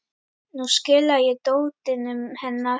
Nú skila ég dótinu hennar